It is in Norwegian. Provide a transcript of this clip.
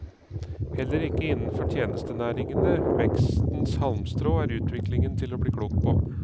Heller ikke innenfor tjenestenæringene, vekstens halmstrå, er utviklingen til å bli klok på.